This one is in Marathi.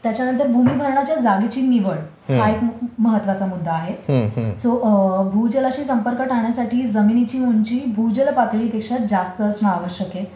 त्याच्यानंतर भूमिभरणाच्या जागेची निवड हा एक खूप महत्वाचा मुद्दा आहे. सो भूजलाशी संपर्क टाळण्यासाठी जमिनीची उंची भूजल पातळीपेक्षा जास्त असणं आवश्यक आहे.